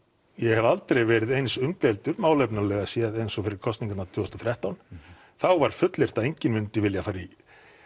ég hef aldrei verið eins umdeildur málefnalega séð eins og fyrir kosningarnar tvö þúsund og þrettán þá var fullyrt að enginn myndi vilja fara í